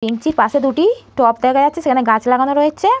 বেঞ্চির পাশে দুটি টব দেখা যাচ্ছে সেখানে গাছ লাগানো রয়েচে-এ।